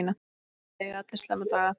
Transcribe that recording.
Það eiga allir slæma daga.